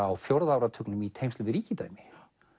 á fjórða áratugnum í tengslum við ríkidæmi